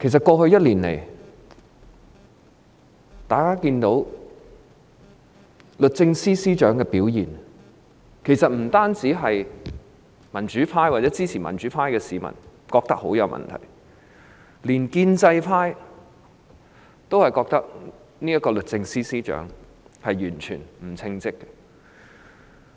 過去1年，大家都看到律政司司長的表現，不僅民主派或支持民主派的市民覺得她大有問題，連建制派也認為，這名律政司司長完全不稱職。